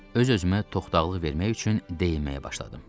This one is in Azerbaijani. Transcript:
Öz-özümə toxdaqlıq vermək üçün deyinməyə başladım.